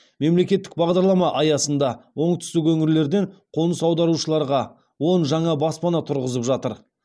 мемлекеттік бағдарлама аясында оңтүстік өңірлерден қоныс аударушыларға он жаңа баспана тұрғызып жатыр